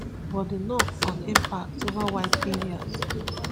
but di knock on impacts ova wide areas